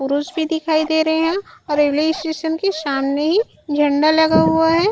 पुरुष भी दिखाई दे रहे है और रेलवे स्टेशन की सामने ही झंडा लगा हुआ है।